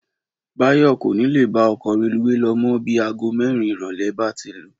Báyọ̀ kò ní lè bá ọkọ̀ reluwé lọ mọ́ bí aago mẹ́rin ìrọ̀lẹ́ bá ti lù